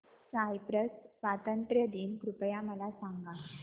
Cyprus स्वातंत्र्य दिन कृपया मला सांगा